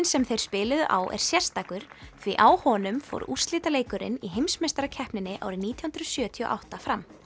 sem þeir spiluðu á er sérstakur því á honum fór úrslitaleikurinn í heimsmeistarakeppninni árið nítján hundruð sjötíu og átta fram